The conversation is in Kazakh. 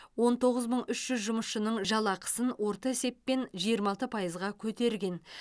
он тоғыз мың үш жүз жұмысшысының жалақысын орта есеппен жиырма алты пайызға көтерген